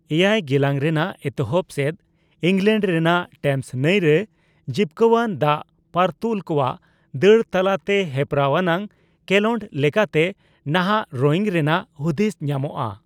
ᱮᱭᱟᱭ ᱜᱮᱞᱟᱝ ᱨᱮᱱᱟᱜ ᱮᱛᱚᱦᱚᱵ ᱥᱮᱫ ᱤᱝᱞᱮᱱᱰ ᱨᱮᱱᱟᱜ ᱴᱮᱢᱚᱥ ᱱᱟᱹᱭ ᱨᱮ ᱡᱤᱵᱠᱟᱹᱟᱱ ᱫᱟᱜᱽ ᱯᱟᱨᱛᱩᱞ ᱠᱚᱣᱟᱜ ᱫᱟᱹᱲ ᱛᱟᱞᱟᱛᱮ ᱦᱮᱯᱨᱟᱣ ᱟᱱᱟᱜ ᱠᱮᱞᱳᱰ ᱞᱮᱠᱟᱛᱮ ᱱᱟᱦᱟᱜ ᱨᱳᱭᱤᱝ ᱧᱮᱱᱟᱜ ᱦᱩᱫᱤᱥ ᱧᱟᱢᱚᱜᱼᱟ ᱾